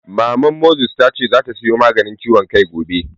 Maman Moses ta ce zata sayo Maganin ciwon kai gobe